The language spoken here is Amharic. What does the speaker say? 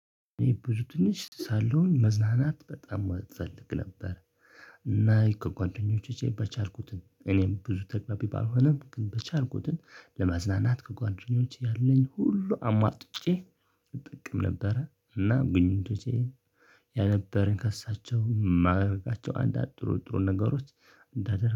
እኔ ብዙ እንትን ውስጥ ሳለሁኝ መዝናናት በጣም እፈልግ ነበር። እና ከጓደኞቼ በቻልኩት እኔም ብዙ ተግባቢ ባልሆነም ግን በቻልኩትን ለመዝናናት ከጓደኞቼ ያለኝ ሁሉ አሟጥጬ እጠቀም ነበረ። እና ግንኙነቶቼ የነበረኝ ከእሳቸው ማረጋቸው አንዳንድ ጥሩ ጥሩ ነገሮች እንዳደርግ